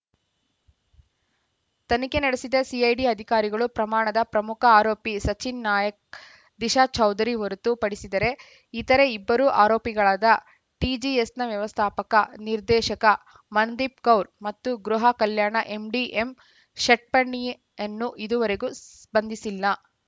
ತನಿಖೆ ನಡೆಸಿದ ಸಿಐಡಿ ಅಧಿಕಾರಿಗಳು ಪ್ರಕರಣದ ಪ್ರಮುಖ ಆರೋಪಿ ಸಚಿನ್‌ ನಾಯ್‌ಕ ದಿಶಾಚೌಧರಿ ಹೊರತು ಪಡಿಸಿದರೆ ಇತರೆ ಇಬ್ಬರು ಆರೋಪಿಗಳಾದ ಟಿಜಿಎಸ್‌ನ ವ್ಯವಸ್ಥಾಪಕ ನಿರ್ದೇಶಕ ಮನದೀಪ್‌ಕೌರ್‌ ಮತ್ತು ಗೃಹ ಕಲ್ಯಾಣ ಎಂಡಿ ಎಂಷಟ್ಪಣಿಯನ್ನು ಇದುವರೆಗೂ ಸ್ಪಂದಿಸಿಲ್ಲ